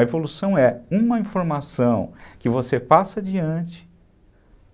A evolução é uma informação que você passa adiante